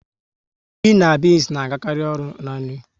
Ji na beans na agakari ọnụ n'nri